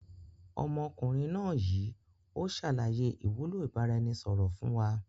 Ọmọkùnrin náà yìí o ṣàlàyé ìwúlò ìbáraẹnisọọ̀rọ̀ fun wa.